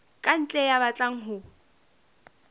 ka ntle ya batlang ho